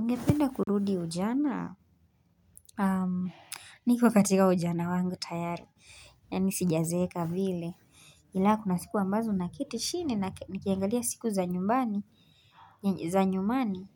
Ningependa kurudi ujana, niko katika ujana wangu tayari, yaani sijazeeka vile, ila kuna siku ambazo naketi chini na nikiangalia siku za nyumani,